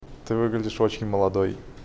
ты выглядишь очень молодой